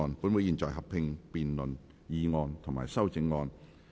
本會現在合併辯論議案及修正案。